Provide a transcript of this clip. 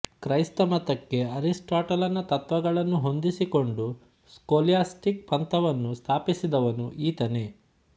ಕ್ರೈಸ್ತಮತಕ್ಕೆ ಅರಿಸ್ಪಾಟಲನ ತತ್ತ್ವಗಳನ್ನು ಹೊಂದಿಸಿಕೊಂಡು ಸ್ಕೊಲ್ಯಾಸ್ಟಿಕ್ ಪಂಥವನ್ನು ಸ್ಥಾಪಿಸಿದವನು ಈತನೇ